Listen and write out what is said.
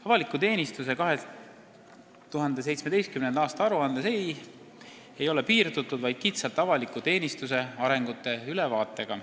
Avaliku teenistuse 2017. aasta aruandes ei ole piirdutud vaid kitsalt avaliku teenistuse arengute ülevaatega.